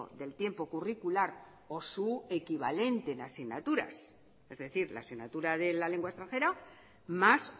del tiempo curricular o su equivalente en asignaturas es decir la asignatura de la lengua extranjera más